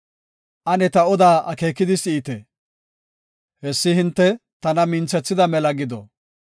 Ane ta oda akeekidi si7ite; hessi hinte tana minthethida mela gido.